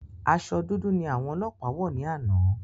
Aṣọ dúdú ni àwọn ọlọpa wọ ni ana